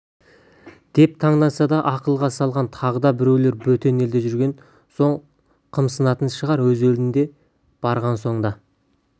деп таңданса да ақылға салған бағда біреулері бөтен елде жүрген соң қымсынатын шығар өз елдеріне барған соң да